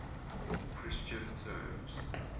christian terms